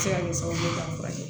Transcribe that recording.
Se ka kɛ sababu ye k'a furakɛ